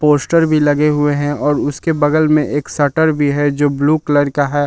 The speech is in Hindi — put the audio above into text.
पोस्टर भी लगे हुए हैं और उसके बगल में एक शटर भी है जो ब्लू कलर का है।